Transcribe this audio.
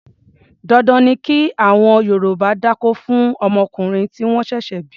Dandan ni kí àwọn Yorùbá dákó fún ọmọkùnrin tí wọ́n ṣẹ̀ṣẹ̀ bí.